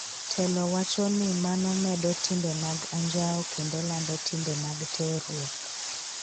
telo wacho ni mano medo timbe mag anjao kendo lando timbe mag terruok.